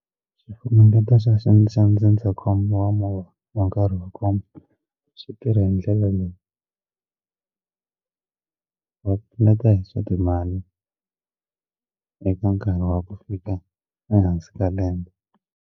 Xifunengeto xa xa xa ndzindzakhombo wa movha wa nkarhi wa khombo swi tirha hi ndlela leyi va pfuneta hi swa timali eka nkarhi wa ku fika ehansi ka lembe.